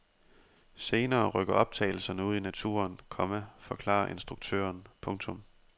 Senere rykker optagelserne ud i naturen, komma forklarer instruktøren. punktum